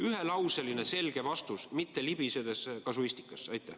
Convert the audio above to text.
Ühelauseline selge vastus, mitte libisedes kasuistikasse.